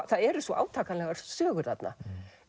það eru svo átakanlegar sögur þarna